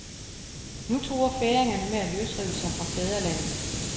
Nu truer færingerne med at løsrive sig fra fædrelandet.